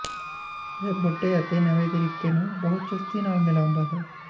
ਇਹ ਬੁੱਢੇ ਅਤੇ ਨਵੇਂ ਤਰੀਕੇ ਨੂੰ ਬਹੁਤ ਚੁਸਤੀ ਨਾਲ ਮਿਲਾਉਂਦਾ ਹੈ